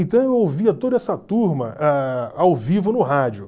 Então eu ouvia toda essa turma a ao vivo no rádio.